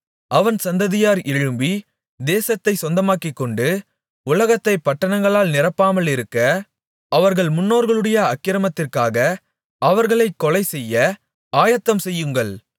அவன் சந்ததியார் எழும்பித் தேசத்தைச் சொந்தமாக்கிக்கொண்டு உலகத்தைப் பட்டணங்களால் நிரப்பாமலிருக்க அவர்கள் முன்னோர்களுடைய அக்கிரமத்திற்காக அவர்களைக் கொலைசெய்ய ஆயத்தம் செய்யுங்கள்